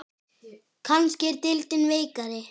Kannski er deildin veikari?